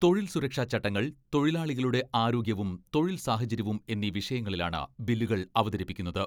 തൊഴിൽ സുരക്ഷാ ചട്ടങ്ങൾ, തൊഴിലാളികളുടെ ആരോഗ്യവും തൊഴിൽ സാഹചര്യവും എന്നീ വിഷയങ്ങളിലാണ് ബില്ലുകൾ അവതരിപ്പിക്കുന്നത്.